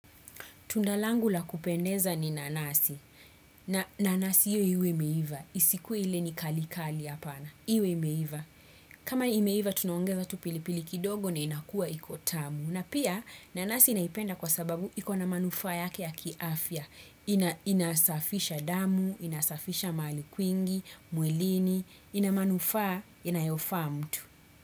Tundalangu la kupendeza ni nanasi. Nanasi iyo iwe imeiva. Isikuwe ile ni kali kali hapana. Iwe imeiva. Kama iwe imeiva tunaongeza tupili pili kidogo na inakua ikotamu. Na pia nanasi naipenda kwa sababu ikona manufaa yake ya kiafya. Inasafisha damu, inasafisha maali kwingi, mwilini. Inamanufa, inayofa mtu.